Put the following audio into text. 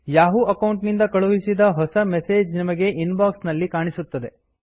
Yahoo account ನಿಂದ ಕಳುಹಿಸಿದ ಹೊಸ ಮೆಸೇಜ್ ನಿಮಗೆ ಇನ್ ಬಾಕ್ಸ್ ನಲ್ಲಿ ಕಾಣಿಸುತ್ತದೆ